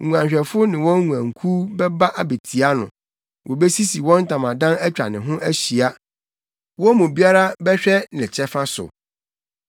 Nguanhwɛfo ne wɔn nguankuw bɛba abetia no; wobesisi wɔn ntamadan atwa ne ho ahyia, wɔn mu biara bɛhwɛ ne kyɛfa so.”